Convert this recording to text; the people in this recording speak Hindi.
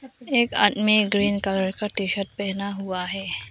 एक आदमी ग्रीन कलर का टी शर्ट पहना हुआ है।